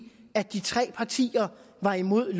at de tre partier var imod